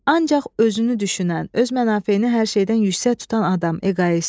Ancaq özünü düşünən, öz mənafeyini hər şeydən yüksək tutan adam, eqoist.